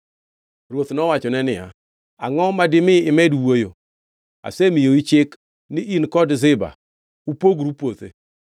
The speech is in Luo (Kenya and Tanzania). Ruoth nowachone niya, “Angʼo ma dimi imed wuoyo? Asemiyou chik ni in kod Ziba upogru puothe.”